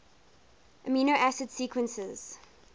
amino acid sequences